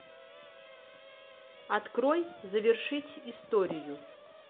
открой завершить историю